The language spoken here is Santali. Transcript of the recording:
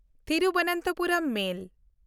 ᱛᱷᱤᱨᱩᱵᱚᱱᱛᱚᱯᱩᱨᱚᱢ ᱢᱮᱞ